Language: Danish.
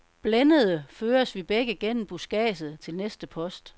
Blændede føres vi begge gennem buskadset til næste post.